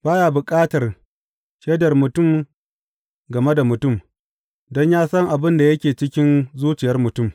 Ba ya bukatar shaidar mutum game da mutum, don yă san abin da yake cikin zuciyar mutum.